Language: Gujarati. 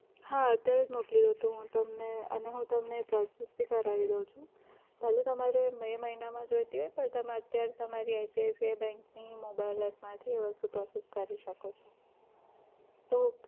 હા અત્યારે જ મોકલી દો તો હું તમને અને હું તમને post book ભી કરાવી દવ છું. ભલે તમારે મે મહિનામાં જોઈતી હોય પણ તમે અત્યારે તમારી ICICI bank ની mobile app માંથી એ વસ્તુ process કરી શકો છો તો